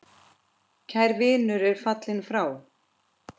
Kær vinur er fallin frá.